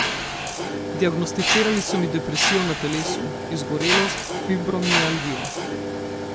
Diagnosticirali so mi depresijo na telesu, izgorelost, fibromialgijo.